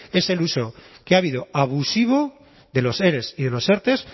es el uso que ha habido abusivo de los ere y de los erte